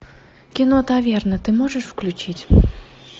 кино таверна ты можешь включить